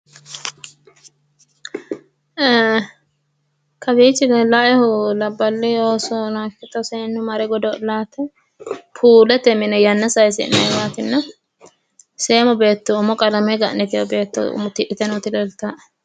Eee kawiichi leellawoehu labballi oosono ikkito seennu mare godo'laate. Puulete mine yanna sayisi'nayiwaatinna seemo beetto duume qalame gan'nitewoti leeltawoe.